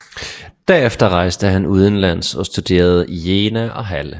Derefter rejste han udenlands og studerede i Jena og Halle